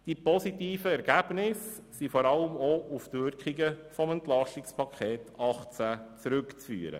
Die positiven Ergebnisse sind vor allem auch auf die Wirkungen des EP 2018 zurückzuführen.